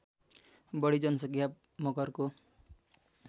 बढी जनसङ्ख्या मगरको